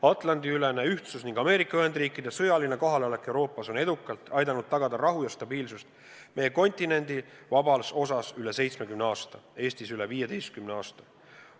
Atlandi-ülene ühtsus ning Ameerika Ühendriikide sõjaline kohalolek Euroopas on edukalt aidanud tagada rahu ja stabiilsust meie kontinendi vabas osas üle 70 aasta, Eestis üle 15 aasta.